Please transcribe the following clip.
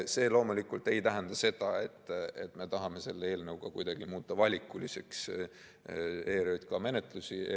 See loomulikult ei tähenda, et me tahame selle eelnõuga kuidagi muuta ERJK menetlusi valikuliseks.